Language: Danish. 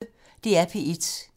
DR P1